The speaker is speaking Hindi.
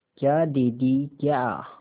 क्या दीदी क्या